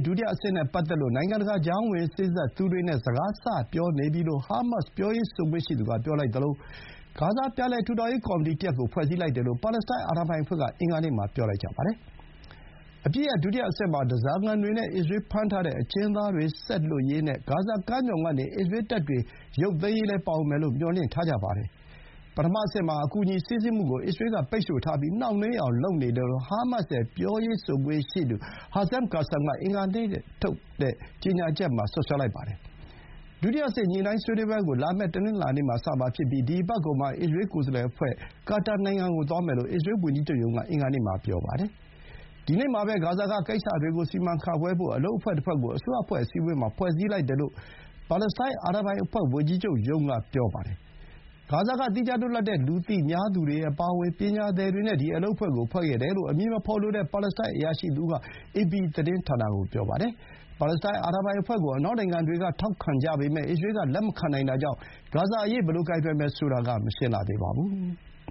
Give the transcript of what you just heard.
ဒုတိယအဆင့်နဲ့ ပတ်သက်လို့ နိုင်ငံတကာ ကြားဝင်စေ့စပ်သူတွေနဲ့ စကား စပြောနေပြီလို့ ဟားမတ်စ် ပြောရေးဆိုခွင့်ရှိသူက ပြောလိုက်သလို ဂါဇာ ပြန်လည်ထူထောင်ရေး ကော်မတီတရပ်ကို ဖွဲ့စည်းလိုက်တယ်လို့ ပါလက်စတိုင်း အာဏာပိုင်အဖွဲ့က အင်္ဂါနေ့မှာ ပြောလိုက်ကြပါတယ်။ အပစ်ရပ် ဒုတိယအဆင့်မှာ ဓားစာခံတွေနဲ့ အစ္စရေးလ်ဖမ်းထားတဲ့ အကျဥ်းသားတွေ ဆက်လွှတ်ရေးနဲ့ ဂါဇာကမ်းမြှောင်ကနေ အစ္စရေးလ်တပ်တွေ ရုပ်သိမ်းရေးလည်း ပါဝင်မယ်လို့ မျှော်လင့်ထားကြတာပါ။ ပထမအဆင့်မှာ အကူအညီ စီးဆင်းမှုကို အစ္စရေးလ်က ပိတ်ဆို့ထားပြီး နှောင့်နှေးအောင် လုပ်နေတယ်လို့ ဟားမတ်စ်ရဲ့ ပြောရေးဆိုခွင့်ရှိသူ Hazem Qassam က အင်္ဂါနေ့မှာထုတ်တဲ့ ကြေညာချက်မှာ ပြောပါတယ်။ ဒုတိယအဆင့် ညှိုနှိုင်းဆွေးနွေးပွဲကို လာမယ့် တနင်္လာနေ့မှာ စမှာဖြစ်ပြီး ဒီအပတ်ကုန်မှာ အစ္စရေးလ် ကိုယ်စားလှယ်အဖွဲ့က ကာတာနိုင်ငံကို သွားမယ်လို့ အစ္စရေးလ်ဝန်ကြီးချုပ်ရုံးက အင်္ဂါနေ့မှာ ပြောပါတယ်။ ဒီနေ့မှာပဲ ဂါဇာက ကိစ္စတွေကို စီမံခန့်ခွဲဖို့ အလုပ်အဖွဲ့တဖွဲ့ကို အစိုးရအဖွဲ့ အစည်းအဝေးမှာ ဖွဲ့စည်းလိုက်တယ်လို့ ပါလက်စတိုင်း အာဏာပိုင်အဖွဲ့ ဝန်ကြီးချုပ်ရုံးက ပြောပါတယ်။ ဂါဇာက သီးခြားလွတ်လပ်တဲ့ လူသိများသူတွေအပါအဝင် ပညာသည်တွေနဲ့ ဒီအလုပ်အဖွဲ့ကို ဖွဲ့တယ်လို့ အမည်မဖော်လိုတဲ့ ပါလက်စတိုင်း အရာရှိတဦးက အေပီသတင်းဌာနကို ပြောပါတယ်။ ပါလက်စတိုင်း အာဏာပိုင်အဖွဲ့ကို အနောက်နိုင်ငံတွေက ထောက်ခံကြပေမဲ့ အစ္စရေးလ်က လက်မခံနိုင်တာကြောင့် ဂါဇာအရေး ဘယ်လိုကိုင်တွယ်မယ်ဆိုတာက မရှင်းလှသေးပါဘူး။